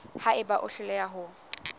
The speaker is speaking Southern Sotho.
ha eba o hloleha ho